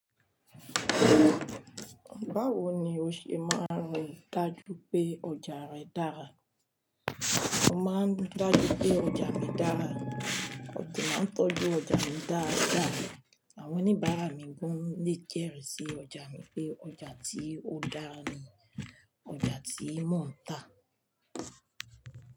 Báwo ni o ṣe máa ń rí dájú pé ọjà rẹ dára? Mo máa ń ri dájú pé ọjà mi dára, mo dẹ̀ máa ń tọ́jú ọjà mi dáadáa, àwọn oníbàárà mi gan-an le jẹ́rìí sí ọjà mi pé ọjà tí ó dára ni ọjà tí mò ń tà.